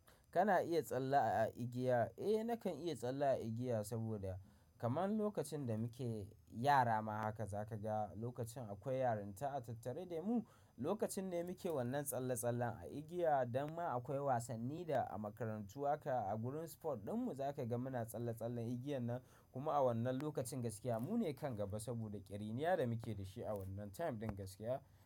Kana iya tsalle a igiya? Eh nakan iya tsalle a igiya saboda kaman lokacin da muke yara ma haka za ka ga lokacin akwai yarinta a tattare de mu, lokacin ne muke wannan tsalle-tsallen a igiya, dama akwai wasanni da a makarantu aka a gurin sport din mu za ka ga muna tsalle-tsallen igiyan nan. Kuma a wannan lokacin gaskiya mu ne kan gaba saboda ƙiriniya da muke da shi a wannan time ɗin gaskiya.